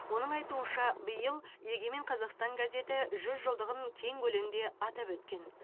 оның айтуынша биыл егемен қазақстан газеті жүз жылдығын кең көлемде атап өткен